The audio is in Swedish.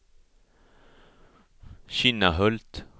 Kinnahult